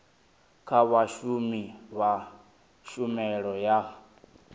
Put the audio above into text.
kha vhashumi vha tshumelo ya